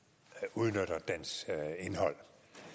udnytter dens indhold